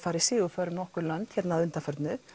farið sigurför um nokkur lönd undanfarið